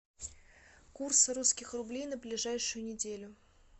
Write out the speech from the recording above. курс русских рублей на ближайшую неделю